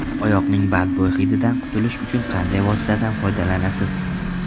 Oyoqning badbo‘y hididan qutulish uchun qanday vositadan foydalanasiz?